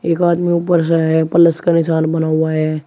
एक आदमी ऊपर सा है प्लस का निशान बना हुआ है।